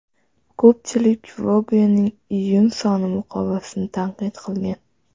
Ko‘pchilik Vogue’ning iyun soni muqovasini tanqid qilgan.